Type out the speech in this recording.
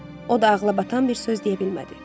O da ağlabatan bir söz deyə bilmədi.